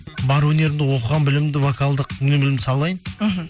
бар өнерімді оқыған білімімді вокалдық салайын мхм